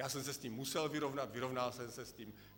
Já jsem se s tím musel vyrovnat, vyrovnal jsem se s tím.